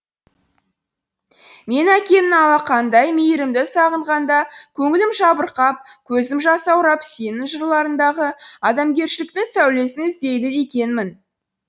мен әкемнің алақанындай мейірімді сағынғанда көңілім жабырқап көзім жасаурап сенің жырларыңдағы адамгершіліктің сәулесін іздейді екенмін